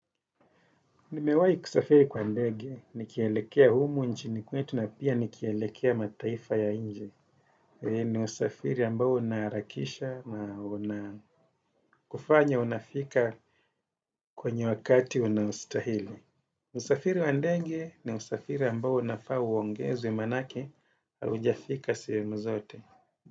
Nimewahi kusafiri kwa ndege, nikielekea humu nchini kwetu na pia nikielekea mataifa ya nje. Eeh ni usafiri ambao unaharakisha, na unakufanya unafika kwenye wakati unaostahili. Usafiri wa ndenge ni usafiri ambao unafaa uongezwe maana yake haujafika sehemu zote.